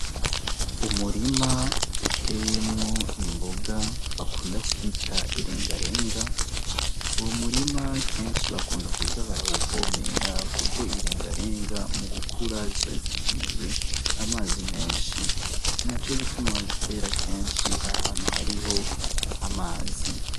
Umurima uteyemwo imboga bakunda kwita irengarenga, uwo murima kenshi bakunda kuza barawuvomera kuko irengarenga mu gukura ziba zikeneye amazi menshi, ninaco gituma bazitera ahantu kenshi hariho amazi.